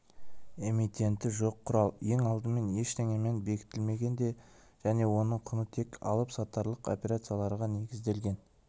эмитенті жоқ құрал ең алдымен ештеңемен бекітілмеген де және оның құны тек алып-сатарлық операцияларға негізделген